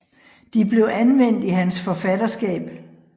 De blev anvendt i hans forfatterskab